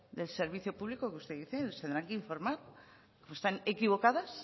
del servicio público que usted dice les tendrán que informar están equivocadas